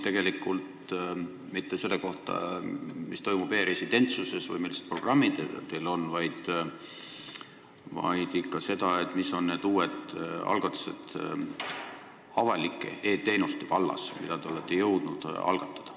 Tema ei küsinud mitte selle kohta, mis toimub e-residentsusega või millised programmid teil on, vaid ikka seda, mis on need uued algatused avalike e-teenuste vallas, mida te olete jõudnud algatada.